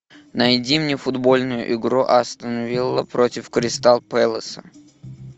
найди мне футбольную игру астон вилла против кристал пэласа